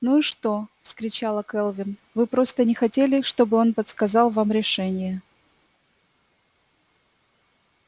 ну и что вскричала кэлвин вы просто не хотели чтобы он подсказал вам решение